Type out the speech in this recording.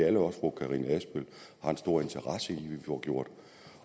alle også fru karina adsbøl har en stor interesse i vi får gjort